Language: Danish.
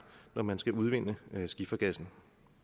når man skal udvinde skifergassen